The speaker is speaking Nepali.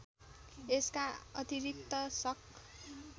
यसका अतिरिक्त शक